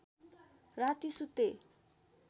राती सुते